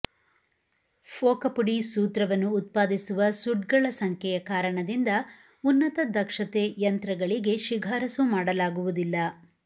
ಫೋಕ ಪುಡಿ ಸೂತ್ರವನ್ನು ಉತ್ಪಾದಿಸುವ ಸುಡ್ಗಳ ಸಂಖ್ಯೆಯ ಕಾರಣದಿಂದ ಉನ್ನತ ದಕ್ಷತೆ ಯಂತ್ರಗಳಿಗೆ ಶಿಫಾರಸು ಮಾಡಲಾಗುವುದಿಲ್ಲ